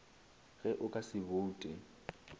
ge o ka se boute